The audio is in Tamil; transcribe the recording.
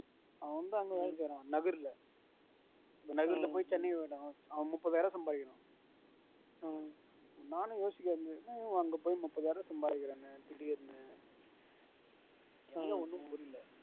அவன் வந்து அங்க வேலை செய்யறான் முப்பது ஆயிரம் சம்பாதிக்கிற நானும் யோசிக்கிறேன் என்ன அங்க போய் முப்பதாயிரம் சம்பாதிக்கிறானே திடீர்னு எனக்கு ஒன்னு புரில